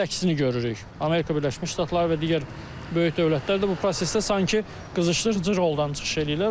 Amerika Birləşmiş Ştatları və digər böyük dövlətlər də bu prosesdə sanki qızışdırıcı roldan çıxış eləyirlər.